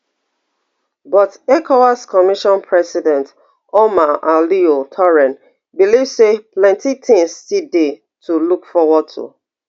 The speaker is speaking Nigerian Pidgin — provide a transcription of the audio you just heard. but ecowas commission president omar alieu touray believe say plenty tins still dey to look forward to